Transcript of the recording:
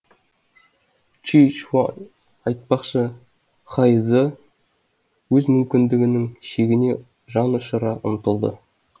ши чуан айтпақшы хай зы өз мүмкіндігінің шегіне жан ұшыра ұмтылды